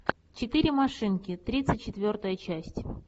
четыре машинки тридцать четвертая часть